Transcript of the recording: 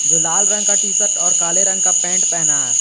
जो लाल रंग का टी शर्ट और काले रंग का पेंट पहना है।